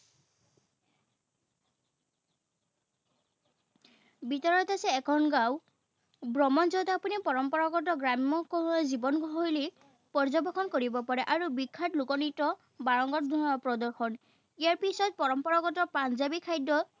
ভিতৰত আছে এখন গাঁও, ভ্ৰমণ যত আপুনি পৰম্পৰাগত গ্ৰাম্য শৈলী, জীৱনশৈলী পৰ্যবেক্ষণ কৰিব পাৰে আৰু বিখ্যাত লোক নৃত্য বাৰংগত প্ৰদৰ্শন। ইয়াৰ পিচত পৰম্পৰাগত পঞ্জাৱী খাদ্য